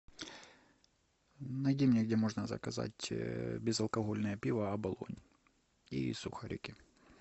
найди мне где можно заказать безалкогольное пиво оболонь и сухарики